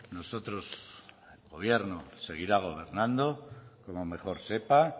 nosotros gobierno seguirá gobernando como mejor sepa